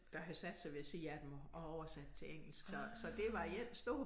Der havde sat sig ved æ side af dem og oversatte til engelsk så så det var en stor